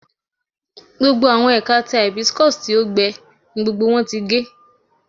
Gbogbo awọn ẹka ti hibiscus ti o gbẹ ni gbogbo wọn ti ge